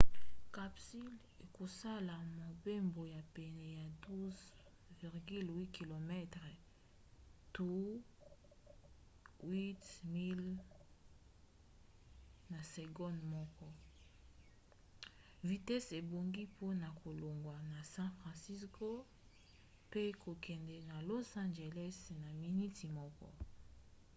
capsule ekosala mobembo ya pene ya 12,8 km to 8 miles na segonde moko vitese ebongi mpona kolongwa na san francisco mpe kokende na los angeles na miniti moko